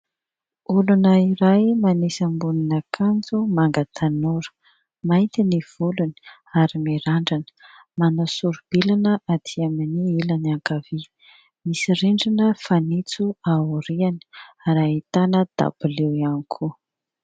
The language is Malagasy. Olona iray manisy ambonin'akanjo manga tanora, mainty ny volony ary mirandrana, manao soro-bilana aty amin'ny ilany ankavia. Misy rindrina fanitso ao aoriany ary ahitana dabilio ihany koa.